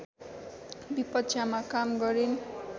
विपक्षमा काम गरिन्